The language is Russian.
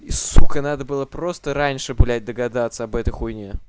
и сука надо было просто раньше блять догадаться об этой хуйне